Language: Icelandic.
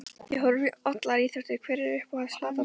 Ég horfi á allar íþróttir Hver er uppáhalds platan þín?